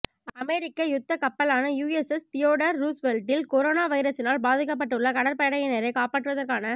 அமெரிக்க யுத்த கப்பலான USS Theodore ரூஸ்வெல்ட்டில் கொரோனா வைரசினால் பாதிக்கப்பட்டுள்ள கடற்படையினரை காப்பாற்றுவதற்கான